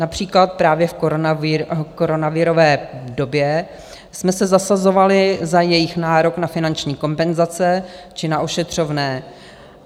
Například právě v koronavirové době jsme se zasazovali za jejich nárok na finanční kompenzace či na ošetřovné.